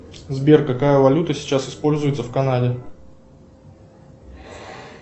сбер какая валюта сейчас используется в канаде